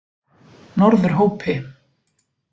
Norðurhópi